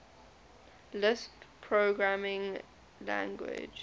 lisp programming language